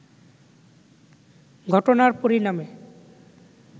ঘটনার পরিণামে